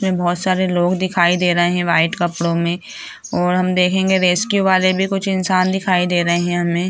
इसमें बहुत सारे लोग दिखाई दे रहे है व्हाइट कपड़ो मे और हम देखेंगे रेस्क्यू वाले भी कुछ इंसान दिखाई दे रहे है हमे।